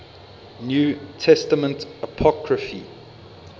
new testament apocrypha